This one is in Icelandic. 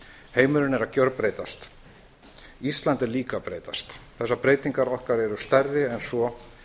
heimurinn er að gjörbreytast ísland er líka að breytast þessar breytingar okkar eru stærri en svo